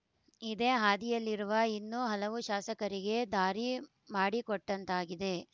ಇದೇ ಹಾದಿಯಲ್ಲಿರುವ ಇನ್ನೂ ಹಲವು ಶಾಸಕರಿಗೆ ದಾರಿ ಮಾಡಿಕೊಟ್ಟಂತಾಗಿದೆ